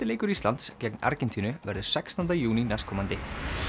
leikur Íslands gegn Argentínu verður sextánda júní næstkomandi